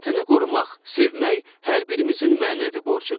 Vətəni qorumaq, sevmək hər birimizin mənəvi borcudur.